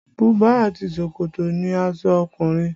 Buba àti ṣòkòtò ni aṣọ ọkùnrin